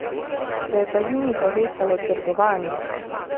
Se je pa z njimi povečalo trgovanje.